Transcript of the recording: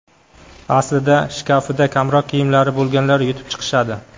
Aslida shkafida kamroq kiyimlari bo‘lganlar yutib chiqishadi.